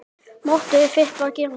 Mottóið þitt var: Gerum þetta!